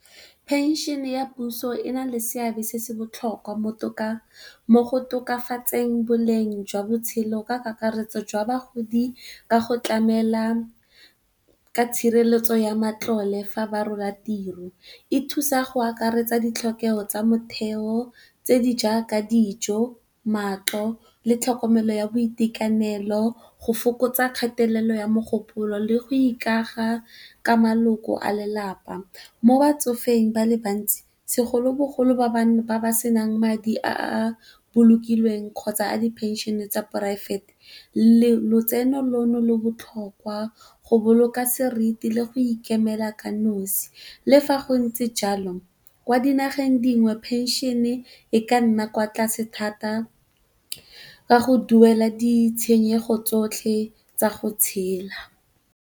Phenšene ya puso e na le seabe se se botlhokwa mo go tokafatseng boleng jwa botshelo ka kakaretso jwa bagodi ka go tlamela ka tshireletso ya matlole fa ba rola tiro. E thusa go akaretsa ditlhokego tsa motheo tse di jaaka dijo, matlo le tlhokomelo ya boitekanelo go fokotsa kgatelelo ya mogopolo, le go ikaga ka maloko a lelapa. Mo batsofeng ba le bantsi segolobogolo, ba ba senang madi a a bolokilweng kgotsa a di phenšene tsa poraefete lotseno leno le botlhokwa go boloka seriti le go ikemela ka nnosi. Le fa go ntse jalo, kwa dinageng tse dingwe phenšene e ka nna kwa tlase thata ka go duela ditshenyego tsotlhe tsa go tshela.